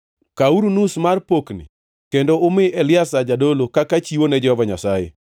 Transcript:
Kawuru nus mar pokni kendo umi Eliazar jadolo kaka chiwo ne Jehova Nyasaye.